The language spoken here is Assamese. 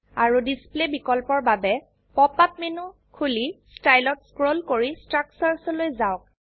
আৰো ডিসপ্লে বিকল্পৰ বাবে পপ আপ মেনু খুলি ষ্টাইল ত স্ক্ৰোল কৰি ষ্ট্ৰাকচাৰ্ছ লৈ যাওক